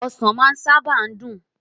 osan maa saba n dun